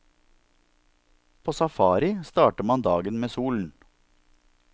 På safari starter man dagen med solen.